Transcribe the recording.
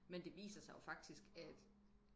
men det viser sig jo faktisk at